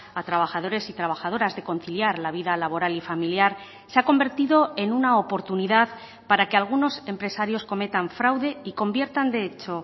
a trabajadores y trabajadoras de conciliar la vida laboral y familiar se ha convertido en una oportunidad para que algunos empresarios cometan fraude y conviertan de hecho